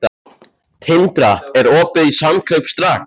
Tindra, er opið í Samkaup Strax?